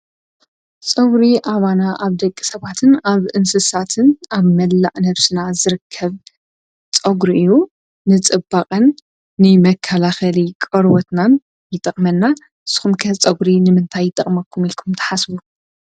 ጸጕሪ ኣባና ኣብ ደቂ ሰባትን ኣብ እንስሳትን ኣብ መላእ ነፍስና ዝርከብ ጸጕሪ እዩ ንጽባቐን ንመካላኸሊ ቀርወትናን ይጠቕመና ስምከት ጸጕሪ ንምንታይ ጠቕመኩም ኢልኩም ተሓስቡ?